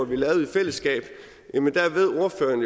vi lavede i fællesskab ved ordføreren